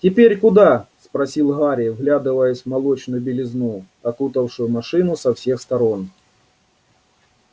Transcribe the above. теперь куда спросил гарри вглядываясь в молочную белизну окутавшую машину со всех сторон